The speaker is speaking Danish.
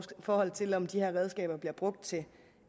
forhold til om de her redskaber bliver brugt til